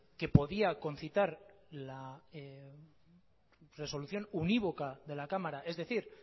que podía concitar la resolución univoca de la cámara es decir